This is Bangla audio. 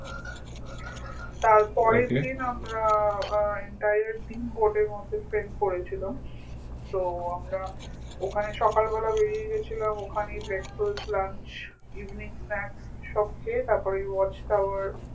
তারপরের দিন আমরা আহ entire দিন boat এর মধ্যে spend করেছিলাম so আমরা ওখানে সকাল বেলা বেরিয়ে গেছিলাম ওখানেই breakfast lunch evening snakcs সব খেয়ে তারপর এই watch tower